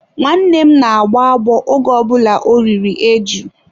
Nwanne m na-agbọ agbọ oge ọ bụla o riri eju.